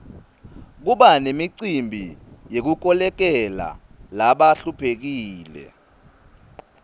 kuba nemicimbi yekukolekela labahluphekile